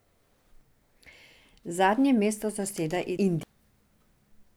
Zadnje mesto zaseda Indija.